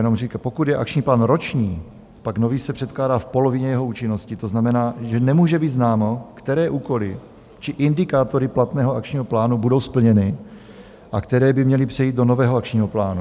Jenom říkám, pokud je akční plán roční, pak nový se předkládá v polovině jeho účinnosti, to znamená, že nemůže být známo, které úkoly či indikátory platného akčního plánu budou splněny a které by měly přejít do nového akčního plánu.